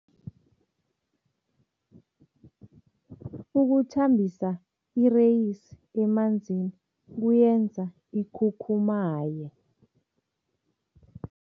Ukuthambisa ireyisi emanzini kuyenza ikhukhumaye.